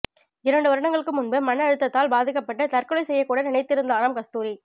இரண்டு வருடங்களுக்கு முன்பு மனஅழுத்தத்தால் பாதிக்கப்பட்டு தற்கொலை செய்ய கூட நினைத்திருந்தாராம் கஸ்தூரி